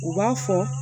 U b'a fɔ